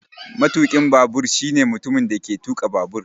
Matukin babur shine mutumin da yake tuka babur